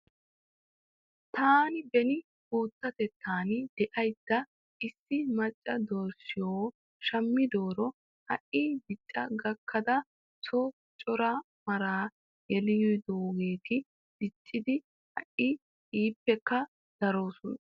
Taani beni guutatettan daydda issi macca dorssiyoo shamidoora ha'i dicca gakkada son cora maraa yelidoogeeti diccidi ha'i ippekka daroosona .